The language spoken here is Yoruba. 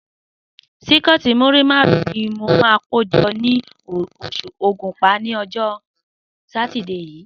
Síkẹ́ẹ̀tì múrí márùn-ún ni mo máa kó jọ ní Ògùnpa ní ọjọ́ Sátidé yìí.